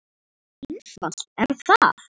Svo einfalt er það!